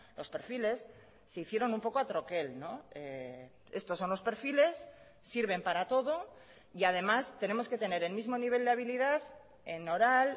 los perfiles se hicieron un poco a troquel estos son los perfiles sirven para todo y además tenemos que tener el mismo nivel de habilidad en oral